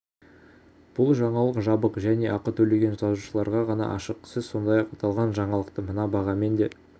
бұл жаңалық жабық және ақы төлеген жазылушыларға ғана ашық сіз сондай-ақ аталған жаңалықты мына бағамен де